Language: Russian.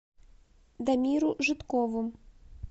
дамиру жидкову